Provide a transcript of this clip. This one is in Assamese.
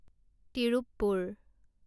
তিৰুপপুৰ